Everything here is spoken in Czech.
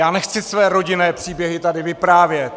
Já nechci své rodinné příběhy tady vyprávět!